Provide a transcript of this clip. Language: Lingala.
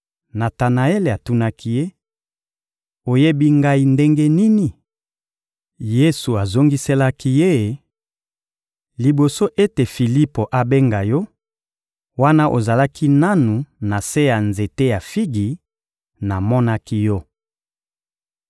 Natanaele atunaki Ye: — Oyebi ngai ndenge nini? Yesu azongiselaki ye: — Liboso ete Filipo abenga yo, wana ozalaki nanu na se ya nzete ya figi, namonaki yo.